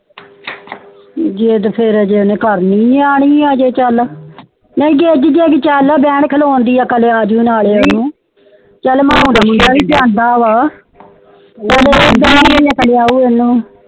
ਵੇ ਜੇ ਹਜੇ ਕਰਨੀ ਆ ਨਿਆਣੀ ਆ ਹਜੇ ਚਾਲ ਨੀ ਅੱਗੇ ਚਾਲ ਬੈਨ, ਖਲੋਣ ਦੀ ਅਕਾਲ ਆਜੂੰ ਨਾਲੇ ਉਣੁ ਚਾਲ